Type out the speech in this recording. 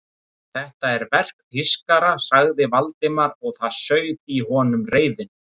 Þetta er verk þýskara sagði Valdimar og það sauð í honum reiðin.